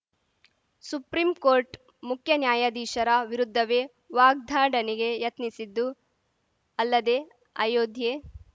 supreme court ಮುಖ್ಯ ನ್ಯಾಯಾಧೀಶರ ವಿರುದ್ಧವೇ ವಾಗ್ದಡನೆಗೆ ಯತ್ನಿಸಿದ್ದು ಅಲ್ಲದೆ ಅಯೋಧ್ಯೆ